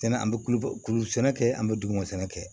Sɛnɛ an bɛ kulo kulu sɛnɛ kɛ an bɛ duguma sɛnɛ kɛ